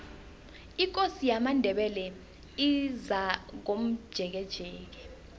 ikosi yamandebele izakomjekejeke